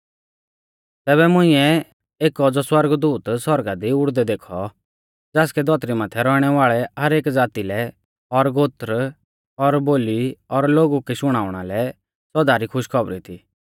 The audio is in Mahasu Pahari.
तैबै मुंइऐ एक औज़ौ सौरगदूत सौरगा दी उड़दै देखौ ज़ासकै धौतरी माथै रौइणै वाल़ै हर एक ज़ाती लै और गोत्र और बोली और लोगु कै शुणाउणा लै सौदा री खुशखौबरी थी